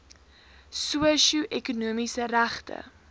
sosio ekonomiese regte